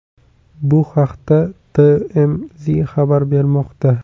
Bu haqda TMZ xabar bermoqda.